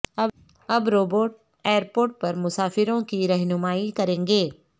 اب robot airport پر مسافروں کی رہنمائی کریں گے